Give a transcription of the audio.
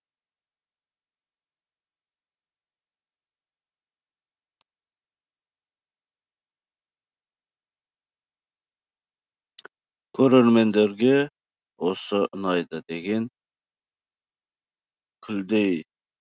көрермендерге осы ұнайды деген күлдей